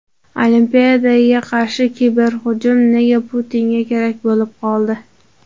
Olimpiadaga qarshi kiberhujum nega Putinga kerak bo‘lib qoldi?